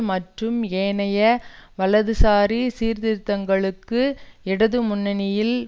மற்றும் ஏனைய வலதுசாரி சீர்திருத்தங்களுக்கு இடது முன்ணியில்